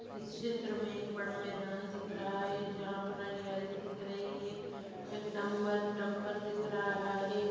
इस चित्र मे एक बड़ा मैदान दिख रहा है जहाँ पर हरियाली दिख रही है एक डंबर-डंपर दिख रहा है।